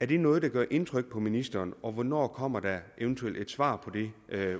det noget der gør indtryk på ministeren og hvornår kommer der eventuelt et svar på det